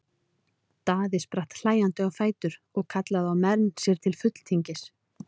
Daði spratt hlæjandi á fætur og kallaði á menn sér til fulltingis.